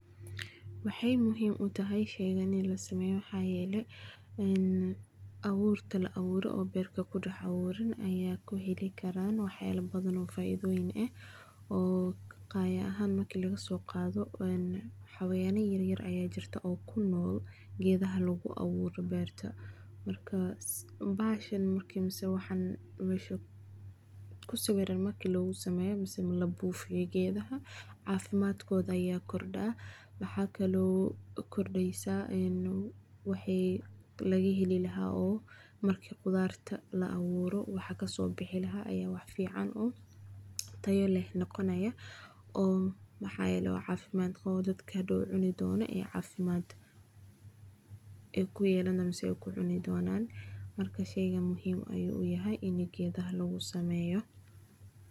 Waxay muxiim utahay shaygaani in lasameyo, maxayele in awurta laawuro oo berta lagudahawurin aya kuheli karaan , waxyalo badan oo faifoyin eh oo qayaa ahan marki lagasogado een hawayanya yaryar aya jiraan oo kunol geedaha laguawuro berta, marka bahashan marka mesha kusawiran marki lagusameyo mase lagubufiyo geedaha cafimadkoda aya korda, mahakao kordeysa ee waxay lagaheli lahaa oo marka qudarta laawuro waxa kasobihi lahaa aya wax fican eh, taya leh nogonaya oo mahayele wax cafimad gawoo oo dadka hadow cuni doona ee cafimadka ee kuyelayan mise aay kucunan, marka sheygaan muxiim ayu uyahay in lasameyo.